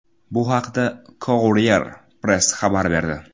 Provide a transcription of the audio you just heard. Bu haqda Courier Press xabar berdi .